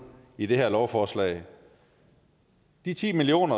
i det her lovforslag de ti million